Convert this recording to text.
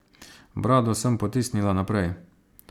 Brado sem potisnila naprej.